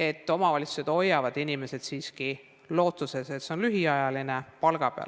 ja omavalitsused hoiavad inimesi siiski palga peal, lootuses, et see kriis on lühiajaline.